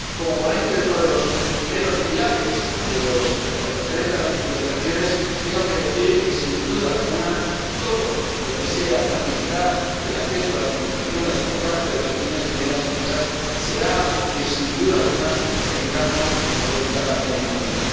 Como ponente de uno de los primeros pilares en lo referente a las titulizaciones, tengo que decir que, sin duda alguna, todo lo que sea facilitar el acceso a las titulizaciones por parte de las pequeñas y medianas empresas será algo que, sin duda alguna, tendremos en cuenta en el informe.